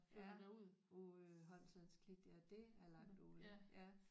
Ja uh øh Holmslands Klit ja det er langt ude ja